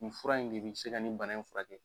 Nin fura in de bi se ka nin bana in furakɛ.